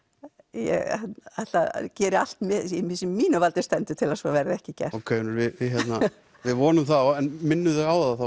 ég geri allt sem í mínu valdi stendur til að svo verði ekki gert ok Unnur við vonum það en minnum þig á það